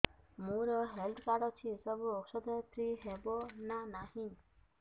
ମୋର health card ଅଛି ସବୁ ଔଷଧ ଫ୍ରି ହବ ନା ନାହିଁ